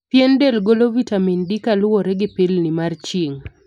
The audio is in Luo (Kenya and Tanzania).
Pien del golo vitamin D kaluwore gi pilni mar chirng'.